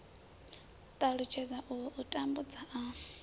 ṱalutshedza uhu u tambudza a